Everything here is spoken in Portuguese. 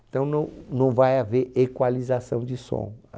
Então, não não vai haver equalização de som.